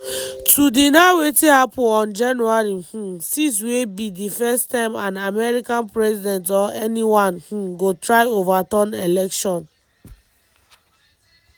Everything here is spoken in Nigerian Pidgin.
“to deny wetin happun on january um 6 wey be di first time an american president or anyone um go try overturn election.